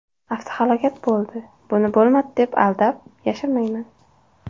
Avtohalokat bo‘ldi, buni bo‘lmadi deb aldab, yashirmayman.